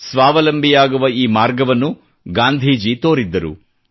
ಸ್ವಾವಲಂಬಿಯಾಗುವ ಈ ಮಾರ್ಗವನ್ನು ಗಾಂಧೀಜಿ ತೋರಿದ್ದರು